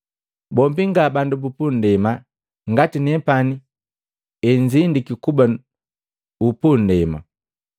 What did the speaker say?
Bombi nga bandu bupundema, ngati nepani ezindiki kuba upundema.